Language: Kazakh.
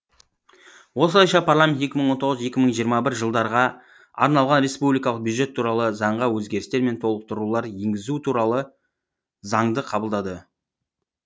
осылайша парламент екі мың он тоғыз екі мың жиырма бір жылдарға арналған республикалық бюджет туралы заңға өзгерістер мен толықтырулар енгізу туралы заңды қабылдады